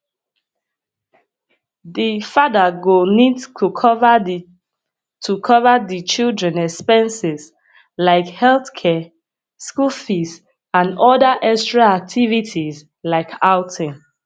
di father go need to cover di to cover di children expenses like healthcare school fees and oda extra activities like outing